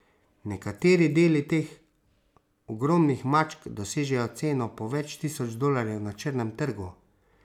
Nekateri deli teh ogromnih mačk dosežejo ceno po več tisoč dolarjev na črnem trgu.